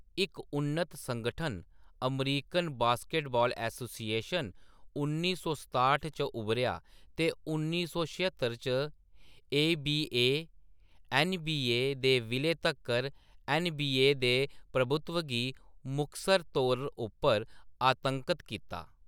इक उन्नत संगठन, अमेरिकन बास्केटबाल एसोसिएशन, उन्नी सौ सताह्ट च उब्भरेआ ते उन्नी सौ छेहत्तर च एबीए-ऐन्नबीए दे विलय तक्कर ऐन्नबीए दे प्रभुत्व गी मुखसर तौर उप्पर आतंकत कीता।